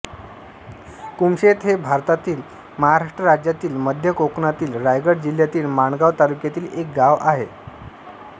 कुमशेत हे भारतातील महाराष्ट्र राज्यातील मध्य कोकणातील रायगड जिल्ह्यातील माणगाव तालुक्यातील एक गाव आहे